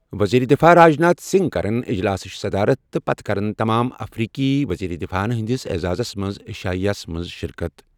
وزیر دفاع راجناتھ سنگھ کَرن اجلاسٕچ صدارت تہٕ پتہٕ کَرن تمام افریقی وزیرِ دِفاعن ہٕنٛدِس اعزازَس منٛز عشائیہ ہس منٛز شرکت۔